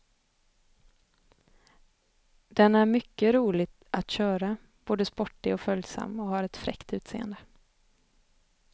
Den är mycket rolig att köra, både sportig och följsam och har ett fräckt utseende.